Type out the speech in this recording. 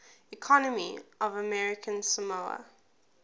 economy of american samoa